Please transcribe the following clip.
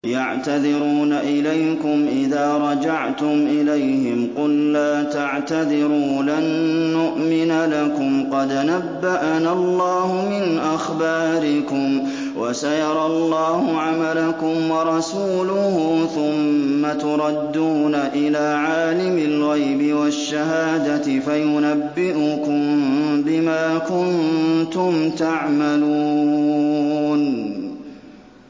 يَعْتَذِرُونَ إِلَيْكُمْ إِذَا رَجَعْتُمْ إِلَيْهِمْ ۚ قُل لَّا تَعْتَذِرُوا لَن نُّؤْمِنَ لَكُمْ قَدْ نَبَّأَنَا اللَّهُ مِنْ أَخْبَارِكُمْ ۚ وَسَيَرَى اللَّهُ عَمَلَكُمْ وَرَسُولُهُ ثُمَّ تُرَدُّونَ إِلَىٰ عَالِمِ الْغَيْبِ وَالشَّهَادَةِ فَيُنَبِّئُكُم بِمَا كُنتُمْ تَعْمَلُونَ